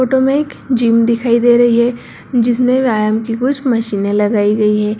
Photo मे एक gym दिखाई दे रही है जिसमे व्यायम की कुछ मचीनें लगाई गई है।